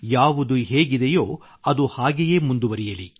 ಯಾವುದು ಹೇಗಿದೆಯೋ ಅದು ಹಾಗೆಯೇ ಮುಂದುವರಿಯಲಿ